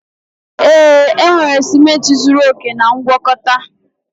Ee, enwere ciment zuru oke na ngwakọta